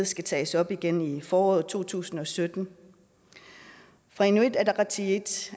skal tages op igen i foråret to tusind og sytten inuit ataqatigiits